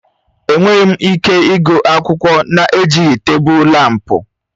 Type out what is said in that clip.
Enweghị m ike ịgụ akwụkwọ na-ejighị tebụl lámpu.